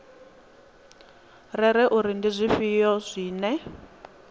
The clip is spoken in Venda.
rere uri ndi zwifhio zwine